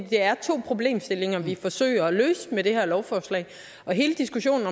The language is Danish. det er to problemstillinger vi forsøger at løse med det her lovforslag og hele diskussionen